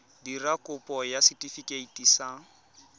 dira kopo ya setefikeiti sa